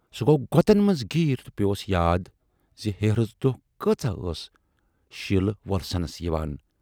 سُہ گَو غۅطن منز گیٖر تہٕ پٮ۪وس یاد زِ"ہیرٕژ دۅہ کٲژاہ ٲس شیٖلہٕ ؔوۅلسنَس یِوان۔